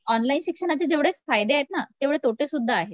जेवढे फायदे आहेत ना तेवढे तोटे सुद्धा आहेत